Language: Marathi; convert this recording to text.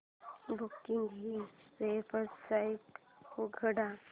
बुकगंगा ही वेबसाइट उघड